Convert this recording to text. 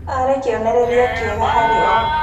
Aarĩ kĩonereria kĩega harĩ o.